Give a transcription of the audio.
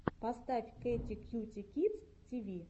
поставь кэти кьюти кидс ти ви